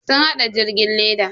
Sun hada jirgin leda.